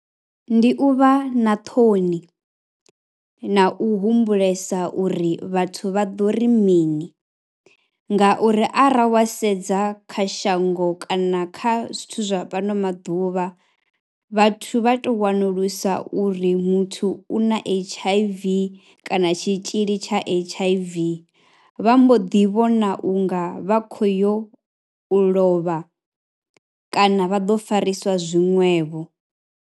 Ndi u vha na ṱhoni na u humbulesa uri vhathu vha ḓo ri mini ngauri arali wa sedza kha shango kana kha zwithu zwa fhano maḓuvha vhathu vha tou wanulusa uri muthu u na H_I_V kana tshitzhili tsha H_I_V vha mbo ḓivhona u nga vha khou yo u lovha kana vha ḓo fariswa zwiṅwevho.